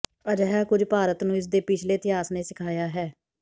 ਅਜਿਹਾ ਕੁਝ ਭਾਰਤ ਨੂੰ ਇਸ ਦੇ ਪਿਛਲੇ ਇਤਿਹਾਸ ਨੇ ਸਿਖਾਇਆ ਹੈ